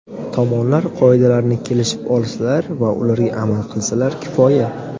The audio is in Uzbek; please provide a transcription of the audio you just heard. Tomonlar qoidalarni kelishib olsalar va ularga amal qilsalar kifoya.